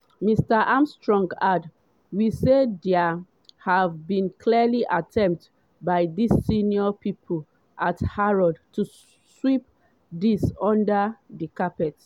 mr armstrong add: “we say dia have been clearly attempts by di senior pipo at harrods to sweep dis under di carpet.”